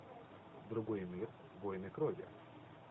другой мир войны крови